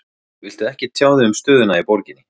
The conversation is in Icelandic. Viltu ekkert tjá þig um stöðuna í borginni?